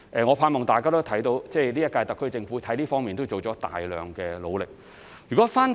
我盼望大家也看到，今屆特區政府在這方面已作出大量的努力。